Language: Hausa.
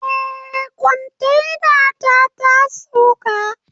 Eh kontainata tasauka